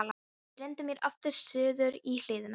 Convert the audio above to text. Ég renndi mér aftur suður í hlíðina.